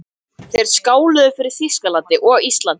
Þeir skáluðu fyrir Þýskalandi og Íslandi.